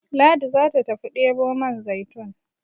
Ladi za ta tafi debo man zaitun